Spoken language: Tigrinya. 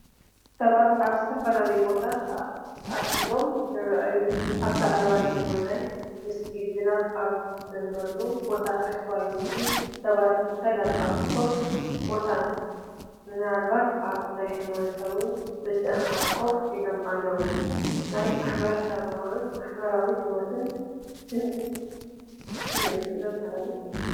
ሰባት ኣብ ዝተፈላለየ ቦታታት ተኣኪቦም ይረኣዩ። ኣብ ላዕለዋይ የማናይ ምስሊ፡ ዝናብ ኣብ ዝዘንበሉ ቦታ፡ ታሕተዋይ ምስሊ፡ ሰባት ብሰላም ኣብ ክፉት ቦታ፡ ምናልባት ኣብ ሃይማኖታዊ ምትእኽኻብ ኮፍ ኢሎም ኣለዉ። ናይ ማሕበረሰባውን ማሕበራዊ ህይወትን ስምዒት ዘመሓላልፍ እዩ።